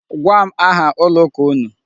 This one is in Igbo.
Gwa m aha ụlọ ụka unu.